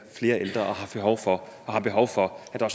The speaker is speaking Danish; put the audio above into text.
ældre og har behov for at der